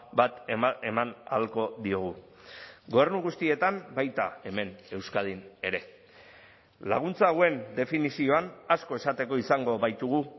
bat eman ahalko diogu gobernu guztietan baita hemen euskadin ere laguntza hauen definizioan asko esateko izango baitugu